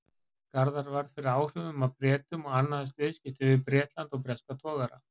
Garðar varð fyrir áhrifum af Bretum og annaðist viðskipti við Bretland og breska togara.